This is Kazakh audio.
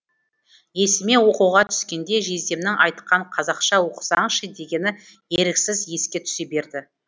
есіме оқуға түскенде жездемнің айтқан қазақша оқысаңшы дегені еріксіз еске түсе берді